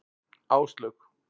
Áslaug